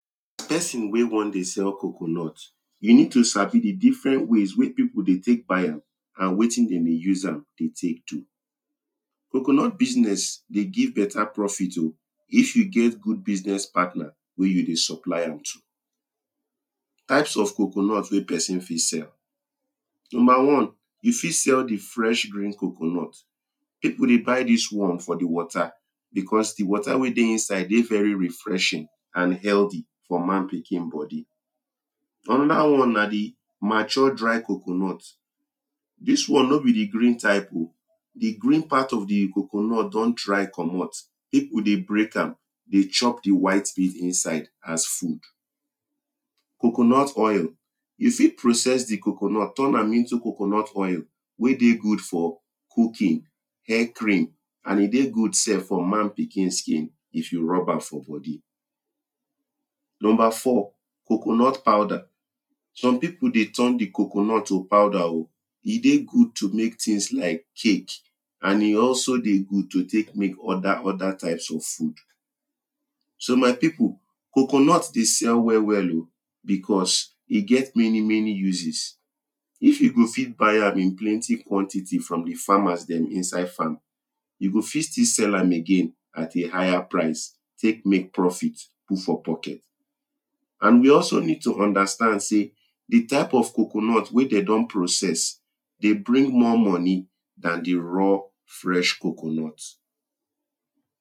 Person wey wan dey sell coconut, you need to sabi the different ways wey people dey take buy am and wetin dem dey use am dey take do Coconut business dey give better profit oo if you get good business partner wey you dey supply am to Types of coconut wey person fit sell. Number one you fit sell the fresh green coconut, people dey buy this one for the water because the water weydey inside dey very refreshing and healthy for man pikin body another one na the mature dry coconut this one no be the green type o the green part of the coconut don dry commot people dey break am dey chop the white weydey inside as food. Coconut oil you fit process the coconut turn am into coconut oil weydey good for cooking hair cream and e dey good sef for man pikin skin if you rub am for body Number four coconut powder; some people dey turn the coconut to powder oo e dey good to make things like cake and e also dey good to make other other types of food so my people coconut dey sell well because e get many many uses if you go fit buy am in plenty quantity from the farmers dem inside farm you go fit still sell am again at a higher price take make profit put for pocket and we also need to understand sey the type of coconut wey dem don process dey bring more money than the raw fresh coconut